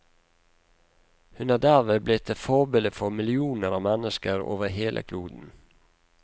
Hun er derved blitt et forbilde for millioner av mennesker over hele kloden.